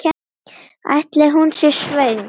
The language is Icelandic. Ætli hún sé svöng?